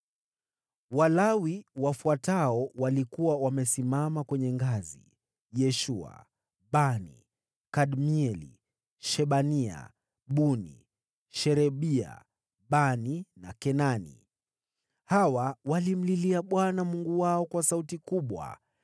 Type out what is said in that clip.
Walawi wafuatao walikuwa wamesimama kwenye ngazi: Yeshua, Bani, Kadmieli, Shebania, Buni, Sherebia, Bani na Kenani. Hawa walimlilia Bwana Mungu wao kwa sauti kubwa.